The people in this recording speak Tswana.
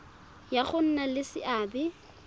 ya go nna le seabe